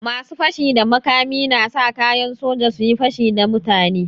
Masu fashi da makami na sa kayan soja su yi pashi na mutane.